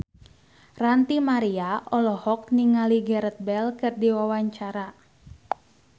Ranty Maria olohok ningali Gareth Bale keur diwawancara